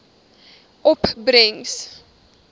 opbrengs